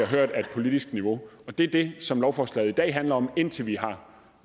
hørt af et politisk niveau og det er det som lovforslaget i dag handler om indtil vi har